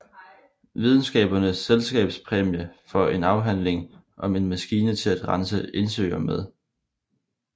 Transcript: Videnskabernes Selskabs præmie for en afhandling om en maskine til at rense indsøer med